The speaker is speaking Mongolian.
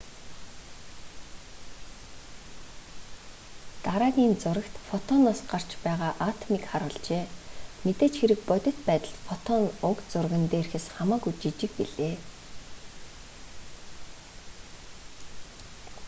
дараагийн зурагт фотоноос гарч байгаа атомыг харуулжээ мэдээж хэрэг бодит байдалд фотон уг зурган дээрхээс хамаагүй жижиг билээ